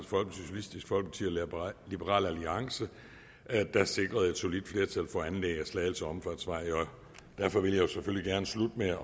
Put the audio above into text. liberal alliance sikrede et solidt flertal for anlæg af slagelse omfartsvej derfor vil jeg selvfølgelig gerne slutte med at